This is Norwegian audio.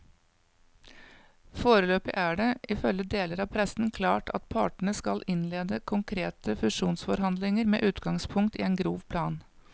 Foreløpig er det, ifølge deler av pressen, klart at partene skal innlede konkrete fusjonsforhandlinger med utgangspunkt i en grov plan.